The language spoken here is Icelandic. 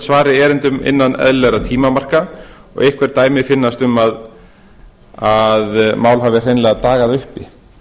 svari erindum innan eðlilegra tímamarka og einhver dæmi finnast um að mál hafi hreinlega dagað uppi